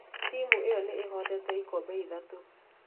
Timu ĩyo nĩ ĩhotete ikombe ithatũ.